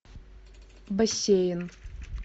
бассейн